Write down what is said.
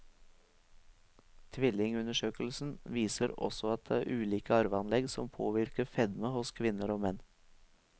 Tvillingundersøkelsen viser også at det er ulike arveanlegg som påvirker fedme hos kvinner og menn.